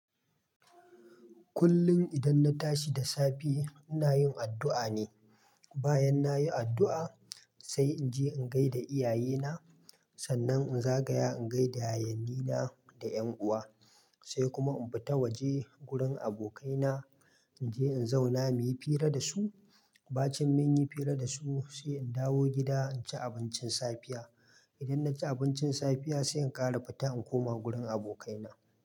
Kullum idan na tashi da safe inayin addua ne. Bayan nayi addu'a sai inje in gaida iyayena. Sannan in zagaya in gaida yayyenina da yan uwa. Sai kuma in fita waje wurin abokaina. Inje in zauna muyi fira da su. Bacin munyi fira da su sai in dawo gida in ci abincin safiya. Idan naci abincin safiya sai in kara fita in koma wurin abokaina.